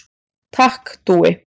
Takk Dúi.